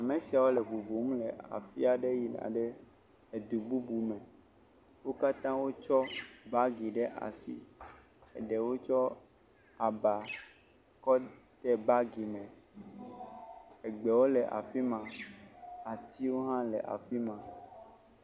Ame siawo le ŋuŋum le aƒia ɖe yina ɖe edu bubu me. wo katã wotsɔ bagi ɖe asi, eɖewo tsɔ aba kɔ de bagi me, egbewo le afi ma, atiwo hã le afi ma.